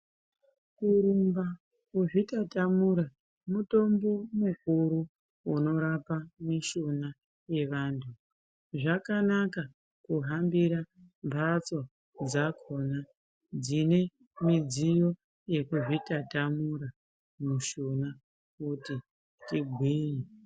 Kurumba, kuzvitatamura mutombo mukuru unorapa mishuna yevanhu. Zvakanaka kuhambira mhatsoo dzakhona dzine midziyo yekuzvitatamura mishuna kuti tigwinye.